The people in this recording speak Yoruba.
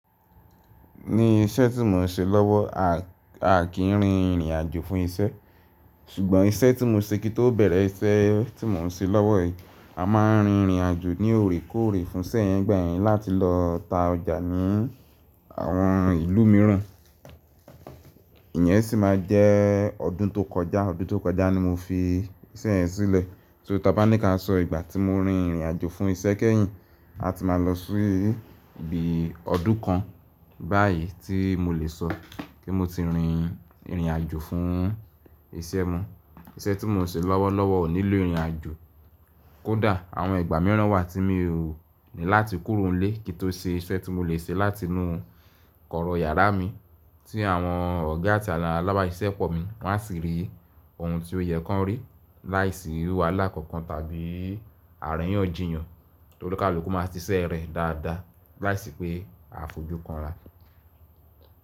Ní iṣẹ́ tí mo n ṣe lọ́wọ́, a kìí rin ìrìn àjò fún iṣẹ́. Ṣùgbọ́n iṣẹ́ tí mo n ṣe kí tó bẹ̀rẹ̀ iṣẹ́ tí mo n ṣe lọ́wọ́ yìí, a máa n rin ìrìn àjò ní òrékóòrè fún iṣẹ́ yẹn gbẹ̀yìn láti lọ ta ọjà ní àwọn ìlú míràn. Ìyẹn sì máa jẹ́ ọdún tó kọjá. Ọdún tó kọjá ni mo fi iṣẹ́ yẹn sílẹ̀. So ta bá ní ká sọ ìgbà tí mo rin ìrìn àjò fún iṣẹ́ kẹ́yìn, a ti máa lọ sí ibi ọdún kan báyìí tí mo lè sọ kí mo ti rin ìrìn àjò fún iṣẹ́ mo. Iṣẹ́ tí mo n ṣe lọ́wọ́lọ́wọ́ ò nílò ìrìn àjò. Kódà àwọn ìgbà mìíràn wà tí mo ní láti kúrò nílé kí n tó ṣe iṣẹ́ tí mo lè ṣe láti inú kọ̀rọ̀ yàrá mi tí àwọn ọ̀gá àti alálábá iṣẹ́ pọ̀ mi wọ́n á sì rí ohun tí ó yẹ kí wọ́n rí láìsí wàhálà kankan tàbí àríyànjiyàn to ni kaluku máa ti ṣiṣẹ́ rẹ̀ dáadáa láìsí pé a fojú kanra.